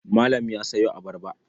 Malam ya sayo abarba.